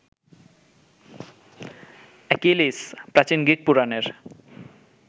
Achilles, প্রাচীন Greek পুরাণের